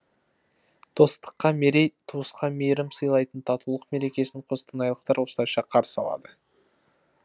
достыққа мерей туысқа мейірім сыйлайтын татулық мерекесін қостанайлықтар осылайша қарсы алады